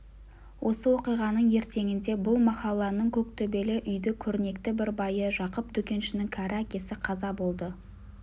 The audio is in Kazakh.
осы оқиғаның ертеңінде бұл махалланың көк төбелі үйді көрнекті бір байы жақып дүкеншінің кәрі әкесі қаза болды